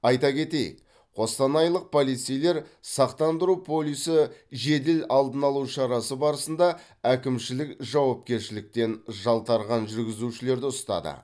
айта кетейік қостанайлық полицейлер сақтандыру полисі жедел алдын алу шарасы барысында әкімшілік жауапкершіліктен жалтарған жүргізушілерді ұстады